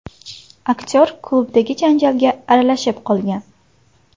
Aktyor klubdagi janjalga aralashib qolgan.